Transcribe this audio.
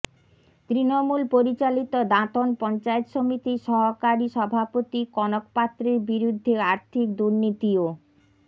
তৃণমূল পরিচালিত দাঁতন পঞ্চায়েত সমিতির সহকারী সভাপতি কনক পাত্রের বিরুদ্ধে আর্থিক দুর্নীতি ও